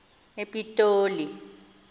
epitoli